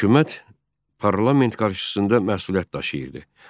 Hökumət parlament qarşısında məsuliyyət daşıyırdı.